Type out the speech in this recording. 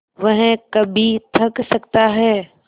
वह कभी थक सकता है